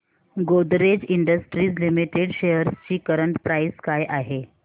Godrej industries limited shares ची current price काय आहे